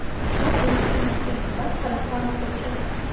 ba buisitse ba tlhalogantse ke